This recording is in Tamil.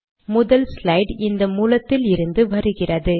முதல் ஸ்லைட் இந்த மூலத்தில் இருந்து வருகிறது